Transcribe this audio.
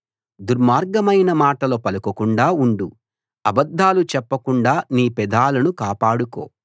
దుర్మార్గమైన మాటలు పలకకుండా ఉండు అబద్ధాలు చెప్పకుండా నీ పెదాలను కాపాడుకో